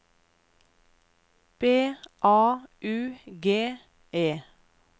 B A U G E